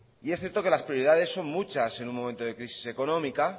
y es cierto que las prioridades son muchas en un momento de crisis económica